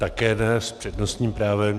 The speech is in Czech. Také ne s přednostním právem.